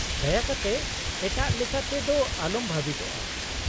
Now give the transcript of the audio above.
-ᱫᱟᱭᱟ ᱠᱟᱛᱮ ᱮᱴᱟᱜ ᱞᱮᱠᱟ ᱛᱮ ᱫᱚ ᱟᱞᱚᱢ ᱵᱷᱟᱵᱤᱛᱚᱜᱼᱟ ᱾